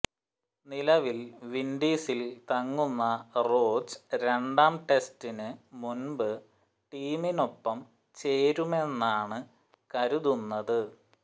നിലവിൽ വിൻഡീസിൽ തങ്ങുന്ന റോച്ച് രണ്ടാം ടെസ്റ്റിന് മുൻപ് ടീമിനൊപ്പം ചേരുമെന്നാണ് കരുതുന്നത്